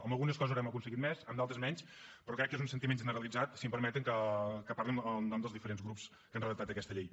en algunes coses ho devem haver aconseguit més en d’altres menys però crec que és un sentiment generalitzat si em permeten que parli en nom dels diferents grups que han redactat aquesta llei